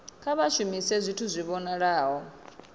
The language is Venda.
kha vha shumise zwithu zwi vhonalaho